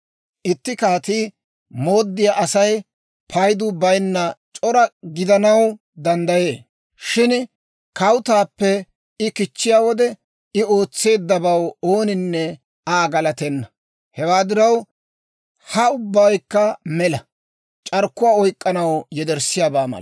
Itti kaatii mooddiyaa Asay paydu bayinna c'ora gidanaw danddayee. Shin kawutaappe I kichchiyaa wode, I ootseeddabaw ooninne Aa galatenna. Hewaa diraw, ha ubbaykka mela; c'arkkuwaa oyk'k'anaw yederssiyaabaa mala.